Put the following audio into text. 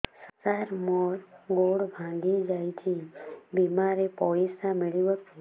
ସାର ମର ଗୋଡ ଭଙ୍ଗି ଯାଇ ଛି ବିମାରେ ପଇସା ମିଳିବ କି